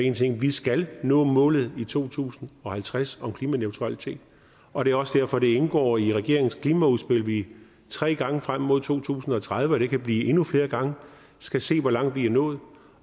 en ting vi skal nå målet i to tusind og halvtreds om klimaneutralitet og det er også derfor det indgår i regeringens klimaudspil at vi tre gange frem mod to tusind og tredive og det kan blive endnu flere gange skal se hvor langt vi nået